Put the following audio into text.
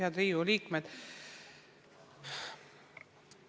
Head Riigikogu liikmed!